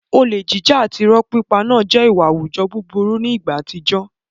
Olè jíjà àti ìrọ́ pípa náà jẹ́ ìwà àwùjọ aburú ní ìgbà àtijọ́.